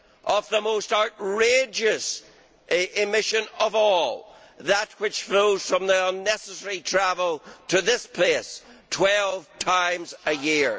of the most outrageous emission of all that which flows from the unnecessary travel to this place, 12 times a year.